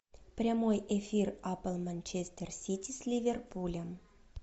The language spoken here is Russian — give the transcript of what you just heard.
прямой эфир апл манчестер сити с ливерпулем